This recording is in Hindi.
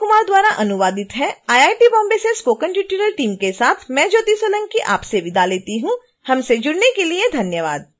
यह ट्यूटोरियल इं अमित कुमार द्वारा अनुवादित है आईआईटी बॉम्बे से स्पोकन ट्यूटोरियल टीम के साथ मैं ज्योति सोलंकीआपसे विदा लेती हूँ हमसे जुड़ने के लिए धन्यवाद